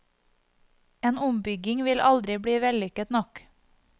En ombygging vil aldri bli vellykket nok.